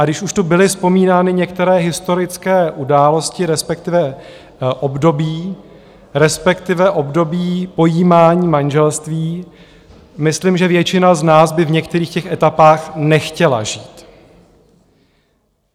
A když už tu byly vzpomínány některé historické události, respektive období, respektive období pojímání manželství, myslím, že většina z nás by v některých těch etapách nechtěla žít.